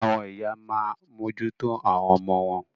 Àwọn ìyá a máa mójú tó àwọn ọmọ wọn.